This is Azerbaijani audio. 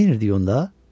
Neynirdik onda?